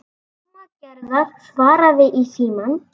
Mamma Gerðar svaraði í símann.